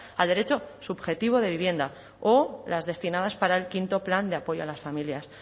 al derecho subjetivo de vivienda o las destinadas para el quinto plan de apoyo a las familias